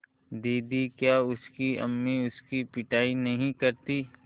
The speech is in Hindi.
दीदी क्या उसकी अम्मी उसकी पिटाई नहीं करतीं